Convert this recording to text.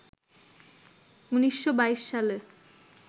১৯২২ সালে